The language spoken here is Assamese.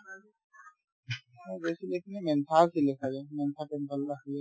আৰু বেছি বেছিকে মেনথান খিনি দেখা যায় মেনথান temple আছিলে যে